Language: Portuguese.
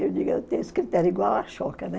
Eu digo, eu tenho os critérios igual a né?